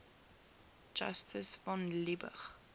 justus von liebig